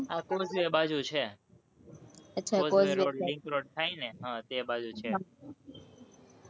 બાજુ છે, ઘોડ-દોડ road, રિંગ road થાય ને એ બાજુ છે,